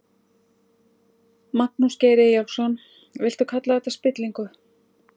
Magnús Geir Eyjólfsson: Viltu kalla þetta spillingu?